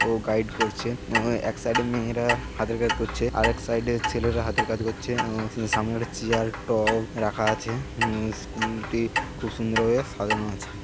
ও guide করছে। এক সাইডে মেয়েরা হাতের কাজ করছে আরেক সাইডের ছেলেরা হাতের কাজ করছে। সামনে কয়েক তা চেয়ার টেবিল রাখা আছে। স্কুলটি খুব সুন্দর ভাবে সাজানো আছে।